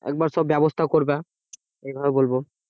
একবার সব ব্যবস্থা করবা এইভাবে বলবো